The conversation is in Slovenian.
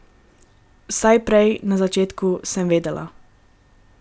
Vsaj prej, na začetku, sem vedela.